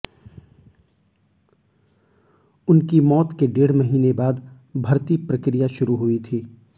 उनकी मौत के डेढ़ महीने बाद भर्ती प्रक्रिया शुरू हुई थी